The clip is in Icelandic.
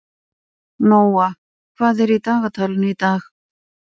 Nóa, hvað er í dagatalinu í dag?